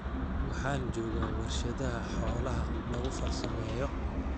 Waxaan joogaa warshadaha xoolaha lagu farsameeyo.